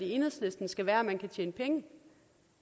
enhedslisten skal være at man kan tjene penge